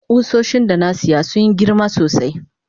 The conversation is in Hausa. kusoshin da na siya sun Yi girma sosai.